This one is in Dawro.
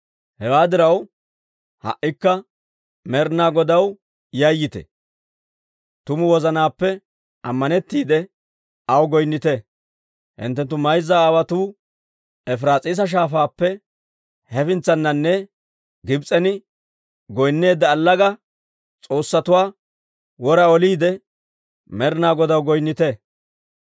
«Hewaa diraw ha"ikka Med'ina Godaw yayyite; tumu wozanaappe ammanettiide aw goynnite. Hinttenttu mayza aawotuu Efiraas'iisa Shaafaappe hefintsaninne Gibs'en goynneedda allaga s'oossatuwaa wora oliide, Med'ina Godaw goynnite.